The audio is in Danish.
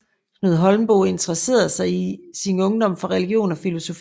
Knud Holmboe interessede sig i sin ungdom for religion og filosofi